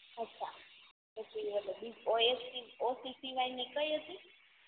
અછાં પછી આપણે O S C O C સિવાયની કઈ હતી